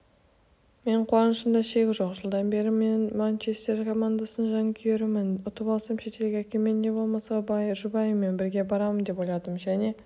менің қуанышымда шек жоқ жылдан бері манчестер командасының жанкүйерімін ұтып алсам шетелге әкеммен не болмаса жұбайыммен бірге барамын деп ойладым және